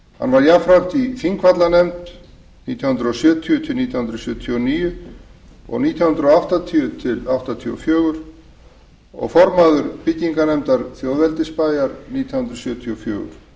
hann var í þingvallanefnd nítján hundruð sjötíu til nítján hundruð sjötíu og níu og nítján hundruð áttatíu til nítján hundruð áttatíu og fjögur og formaður byggingarnefndar þjóðveldisbæjar nítján hundruð sjötíu og